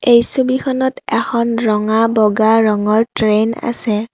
এই ছবিখনত এখন ৰঙা বগা ৰঙৰ ট্ৰেইন আছে।